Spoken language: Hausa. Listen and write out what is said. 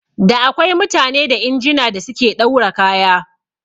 Da akwai mutane da injina da suke ɗaura kaya